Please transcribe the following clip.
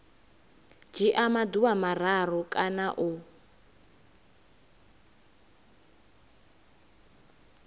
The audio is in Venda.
dzhia maḓuvha mararu kana u